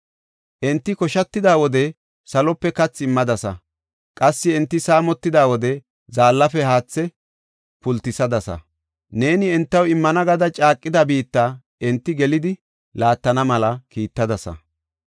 Enti koshatida wode salope kathi immadasa; qassi enti saamotida wode zaallafe haathe pultisadasa. Neeni entaw immana gada caaqida biitta enti gelidi laattana mela kiittadasa.